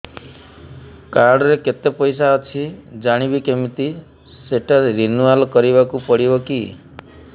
card ରେ କେତେ ପଇସା ଅଛି ଜାଣିବି କିମିତି ସେଟା ରିନୁଆଲ କରିବାକୁ ପଡ଼ିବ କି